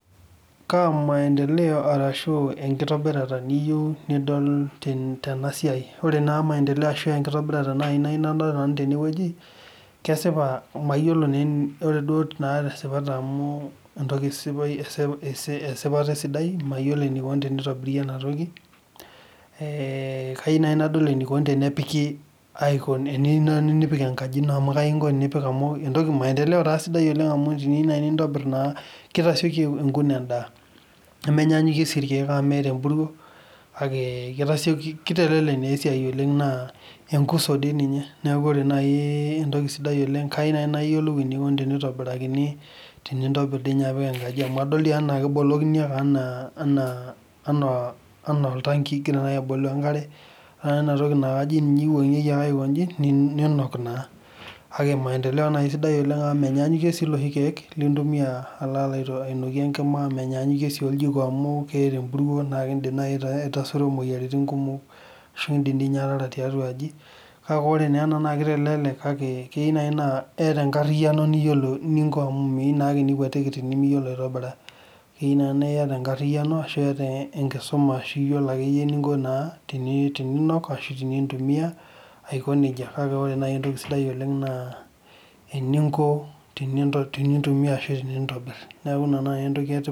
Kaamaendeleo arashu enkitobirata niyieu nidol tena siai, ore maendeleo ashu enkitobirata nayieu nanu nadol tene woji, ore tesipata amu esipata esidai mayiolo eneikoni tenitobiri ena toki es kayieu naai nadol eneikoni tenepiki tenepik enkaji ino amu kai inko tenipik engaji amu maendeleo sidai oleng' amu teniyieu nai nintobir naa tesioki ataoku endaa, nemenyaanyukie sii ilkeek amu meeta empuruo kake kitelelek naa esiai oleng' naa enkusu dii ninye. Neeku ore naai entoki sidai kayieu naai enikoni tenitobirini tenintobir dii ninye apik enkaji amu adol diinye enaa kebolokini enaa oltanki inkira naai abolu enkare eeta enatoki naakajo ninye iwuanyikie ake iwuankeki ake aikoji niinok naa kake maendeleo nai sidai amu menyaanyukie sii iloshi keek lintumia alo ainokie enkima, nemenyanyuukie sii oljiko amu keeta empuruo nikidip aitasuro imoyiaritin kumok ashu kidim ninye ataara tiatua aji. Kake ore naa ena kitelelek kake keinai naa iyata enkariyiano niyiolou eninko amu meyiou naake nikuatiki tenimiyiolo aitobira, keyieu naa iyata enkariyiano ashu iyata enkisuma ashu iyiolo akeyie eninko naa teninook ashu tenintumia aiko nejia, kake ore naai entoki sidai naa eninko naai tenintumiya ashu eninko teniyieu nintobir. Neeku ina naai entoki etipat.